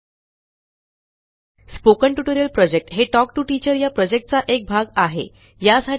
spoken tutorial project हे talk to teacher या प्रॉजेक्टचा एक भाग आहे